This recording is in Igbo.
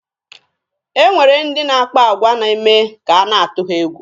E nwere ndị na-akpa agwa na-eme ka a na-atụ ha egwu.